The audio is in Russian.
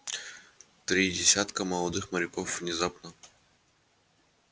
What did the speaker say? три десятка молодых моряков внезапно